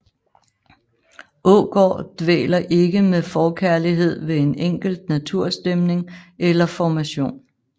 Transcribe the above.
Aagaard dvæler ikke med forkærlighed ved en enkelt naturstemning eller formation